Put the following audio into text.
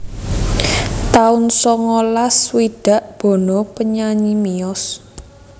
taun songolas swidak Bono penyanyi miyos